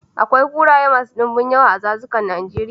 Akwai kuraye masu dunbun yawa a dazukan Najeria.